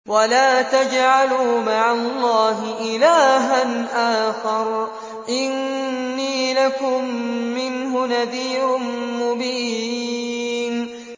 وَلَا تَجْعَلُوا مَعَ اللَّهِ إِلَٰهًا آخَرَ ۖ إِنِّي لَكُم مِّنْهُ نَذِيرٌ مُّبِينٌ